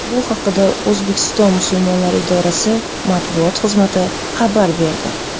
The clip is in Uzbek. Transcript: Bu haqda O‘zbekiston musulmonlari idorasi Matbuot xizmati xabar berdi .